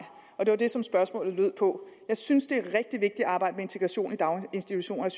og det var det som spørgsmålet gik på jeg synes det er rigtig vigtigt at arbejde med integration i daginstitutionerne